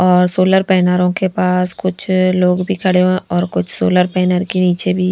और सोलर पैनरो के पास कुछ लोग भी खड़े हुए हैं और कुछ सोलर पैनर के नीचे भी --